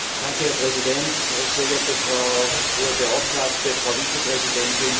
Herr Präsident, sehr geehrte Frau Hohe Beauftragte, Frau Vizepräsidentin!